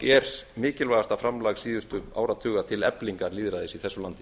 er mikilvægasta framlag síðustu áratuga til eflingar lýðræðis í þessu landi